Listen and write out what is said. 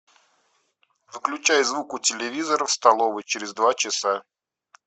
выключай звук у телевизора в столовой через два часа